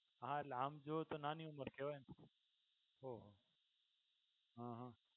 હા એટલે આમ જુવો તો નાની ઉંમર કહેવાય ને? ઓહો અ હ.